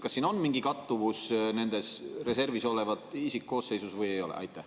Kas siin on mingi kattuvus reservis olevas isikkoosseisus või ei ole?